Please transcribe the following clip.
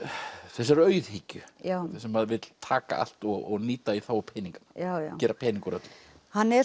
þessarar auðhyggju þess sem vill taka allt og nýta í þágu peninga gera pening úr öllu hann er